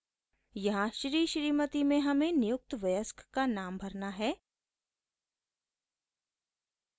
यहाँ श्री/श्रीमती में हमें नियुक्त वयस्क का नाम भरना है